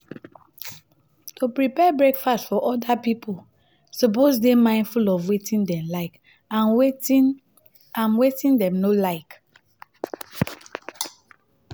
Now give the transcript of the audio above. to prepare breakfast for other you suppose de mindful of wetin dem like and wetin and wetin dem no like